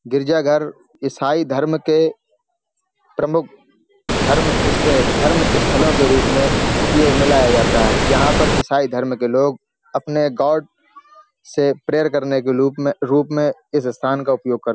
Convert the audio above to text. गिरजाघर ईसाई धर्म के प्रमुख धर्म स धर्म स्थलों के रूप में उपयोग में लाया जाता है। यहाँ पर इसाई धर्म के लोग अपने गाॅड से प्रेयर करने के लूप में रूप में इस स्थान का उपयोग करते --